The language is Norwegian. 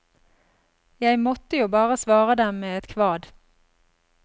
Jeg måtte jo bare svare dem med et kvad!